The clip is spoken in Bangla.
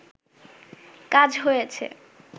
কাজ হয়েছে